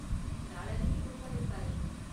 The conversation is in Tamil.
நாளான்னைக்கு புக் பண்ணிருக்காரு.